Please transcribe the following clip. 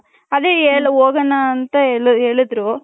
ಅದೇ ಹೋಗಣ ಅಂತ ಹೇಳಿದ್ರು.